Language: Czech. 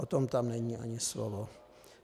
O tom tam není ani slovo.